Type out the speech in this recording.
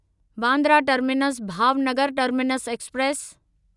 Bandra terminus Bhavnagar terminus express